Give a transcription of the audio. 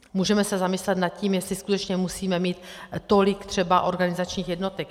Můžeme se zamyslet nad tím, jestli skutečně musíme mít třeba tolik organizačních jednotek.